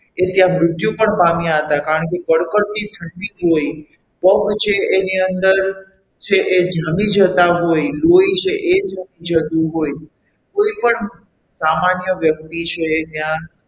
એ ત્યાં મૃત્યુ પણ પામ્યા હતા કારણ કે કડ -કડતી ઠંડી જોઈ પગ છે એની અંદર છે એ જમી જતા હોય છે લોહી છે એ જમી જતું હોય કોઈપણ સામાન્ય વ્યક્તિ છે એ ત્યાં,